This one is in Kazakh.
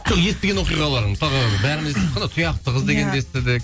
жоқ естіген оқиғаларың мысалға бәріміз тұяқты қыз дегенді естідік